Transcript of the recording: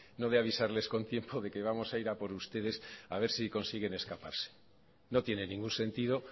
no de avisarles con tiempo de que vamos a ir a por ustedes a ver si consiguen escaparse no tiene ningún sentido